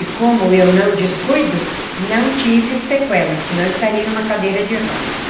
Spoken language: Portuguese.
E como eu não descuido, não tive sequela, senão eu estaria numa cadeira de rodas.